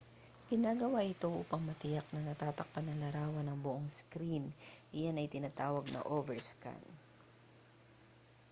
ginagawa ito upang matiyak na natatakpan ng larawan ang buong screen iyan ay tinatawag na overscan